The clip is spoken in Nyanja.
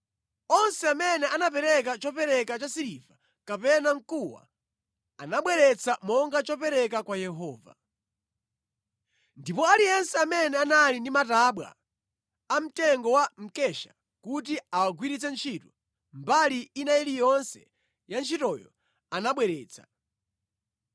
Onse amene anapereka chopereka cha siliva kapena mkuwa anabweretsa monga chopereka kwa Yehova. Ndipo aliyense amene anali ndi matabwa a mtengo wa mkesha kuti awagwiritse ntchito mbali ina iliyonse ya ntchitoyo, anabweretsa.